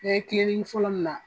N ye kiliniki fɔlɔ min na.